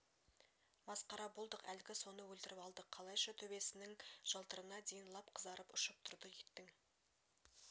масқара болдық әлгі соны өлтіріп алдық қалайша төбесінің жалтырына дейін лап қызарып ұшып тұрды иттің